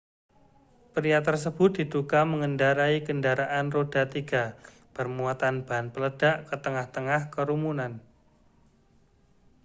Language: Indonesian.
pria tersebut diduga mengendarai kendaraan roda tiga bermuatan bahan peledak ke tengah-tengah kerumunan